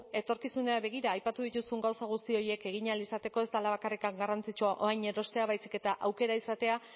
etorkizunera begira aipatu dituzun gauza guzti horiek egin ahal izateko ez dela bakarrik garrantzitsua orain erostea baizik eta aukera izatea